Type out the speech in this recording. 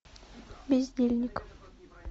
бездельник